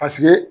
Paseke